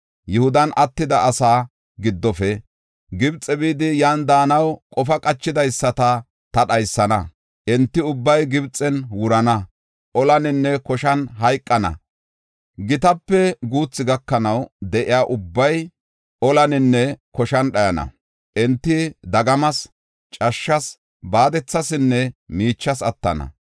Yihudan attida asaa giddofe, Gibxe bidi, yan daanaw qofa qachidaysata ta dhaysana. Enti ubbay Gibxen wurana; olaninne koshan hayqana. Gitape guuthu gakanaw de7iya ubbay olaninne koshan dhayana. Enti dagamas, cashshas, baadethasinne miichas attana.